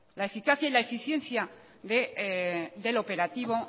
la eficacia y la eficiencia del operativo